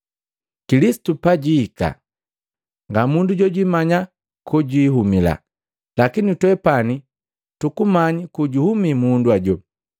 Kilisitu pajihika nga mundu jojwimanya kojuhumila, lakini twepani tukumanyi kojuhumi mundu ajo.”